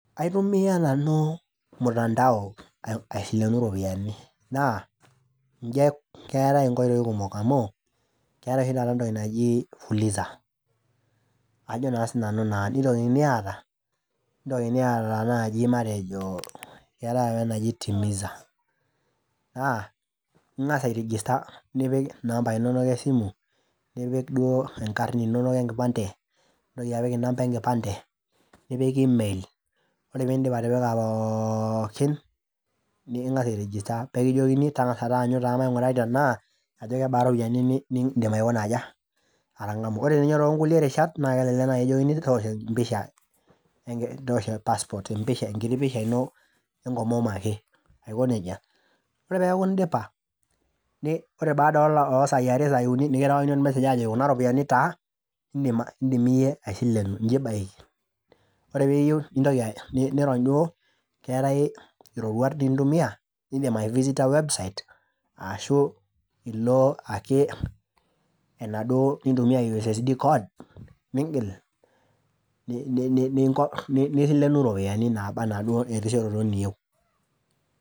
Aitumia nanu mutanao aisilenu iropiyiani naa keetae nkoitoi kumok amu keetae oshi taata entoki naji fuliza aajo naa sinanu nitokini aata keetae apa enaji timiza naa ingas airegister nipik inambai inonok esimu , nipik duo inkarn inonok enkipande, nitoki apik inamba enkipande ,nipik email, ore piidip atipika poookin ningas airegister , pee ekijokini tengas taanyu mainguraki tenaa ajo kebaa iropiyiani nindim aikuna aja. Ore ninye ninye too nkulie rishat naa kelelek nai kijokini toosho empisha , toosho passport enkiti pisha ino enkomom ake aiko nejia. Ore peaku indipa, ore peaku baaa osai are , ore sai uni ,nikirewakini ormesssage ajoki kuna ropiyiani taa indim iyie aisilenu, ninche ibaiki . Ore piyieu , nirony duo , keetae iroruat nintumia , nindim aivisita website ashu ilo ake nintumia ussd code, ningil , niselenu iropiyiani naba anaa inenkishooroto niyieu.